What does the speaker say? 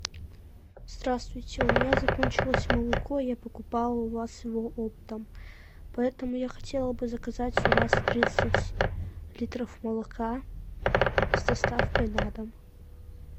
здравствуйте у меня закончилось молоко я покупала у вас его оптом поэтому я хотела бы заказать у вас тридцать литров молока с доставкой на дом